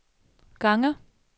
gange